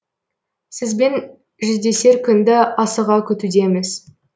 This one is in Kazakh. сізбен жүздесер күнді асыға күтудеміз